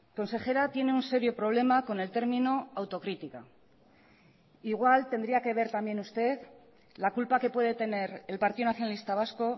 consejera tiene un serio problema con el término autocrítica igual tendría que ver también usted la culpa que puede tener el partido nacionalista vasco